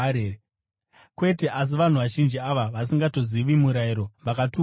Kwete! Asi vanhu vazhinji ava vasingatongozivi murayiro, vakatukwa ava.”